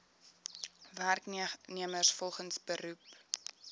werknemers volgens beroep